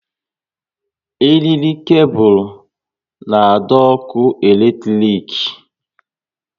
Eriri kebul na adọ ọkụ eletrik